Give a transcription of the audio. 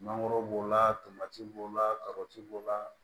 Mangoro b'o la tomati b'o la kabati b'o la